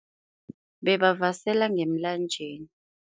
Bebavasela ngemlanjeni.